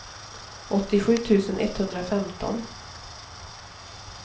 åttiosju tusen etthundrafemton